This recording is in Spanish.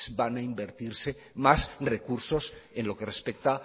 van a invertirse más recursos en lo que respecta